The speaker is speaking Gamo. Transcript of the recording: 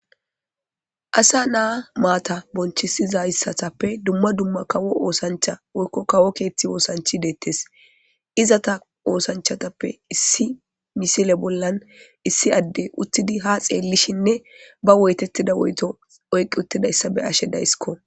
Asa naa maata bonchisizayssatappe dumma dumma kawo oosancha woykko kawo keetti woosanchi deettes izata oosanchatappe issi misile bollan issi adde uttidi ha xeellishinne ba woytettida woyto oyqqi uttidayssa be ashe daysikko.